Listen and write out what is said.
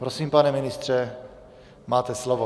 Prosím, pane ministře, máte slovo.